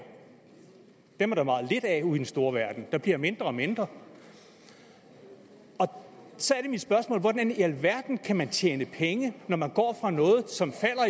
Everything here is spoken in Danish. er der meget lidt af ude i den store verden og der bliver mindre og mindre og så er mit spørgsmål hvordan i alverden kan man tjene penge når man går fra noget som